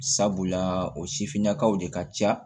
Sabula o sifinnakaw de ka ca